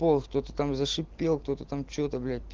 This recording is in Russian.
пол кто то там зашипел кто то там что то блять